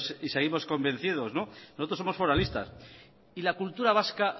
y seguimos convencidos nosotros somos foralistas y la cultura vasca